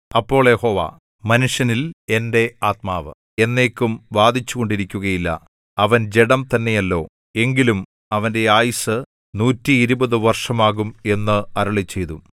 അപ്പോൾ യഹോവ മനുഷ്യനിൽ എന്റെ ആത്മാവ് എന്നേക്കും വാദിച്ചുകൊണ്ടിരിക്കുകയില്ല അവൻ ജഡം തന്നെയല്ലോ എങ്കിലും അവന്റെ ആയുസ്സ് നൂറ്റിഇരുപത് വർഷമാകും എന്ന് അരുളിച്ചെയ്തു